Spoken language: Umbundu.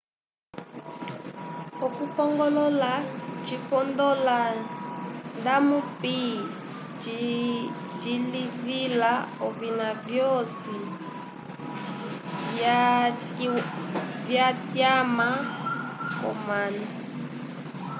okupongolola cipondola ndamupi cilivila ovina vyoci vyatyama comanu